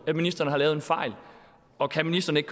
ministeren har lavet en fejl og kan ministeren ikke